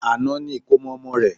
Àná ni ìkómọ ọmọ rẹ̀